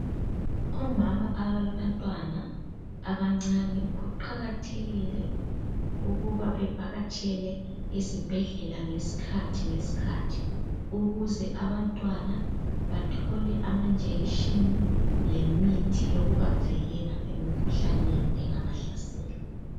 Omama abalabantwana abancane kuqakathekile ukuba bevakatshele izibhedlela ngesikhathi ngesikhathi ukuze abantwana bathole amajekiseni lemithi yokubavikela emikhuhlaneni engabahlasela.